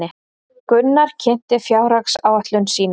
Gunnar kynnti fjárhagsáætlun sín